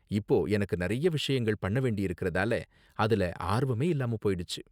இப்போ, எனக்கு நிறைய விஷயங்கள் பண்ண வேண்டி இருக்குறதால, அதுல ஆர்வமே இல்லாம போயிடுச்சு.